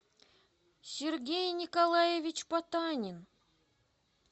сергей николаевич потанин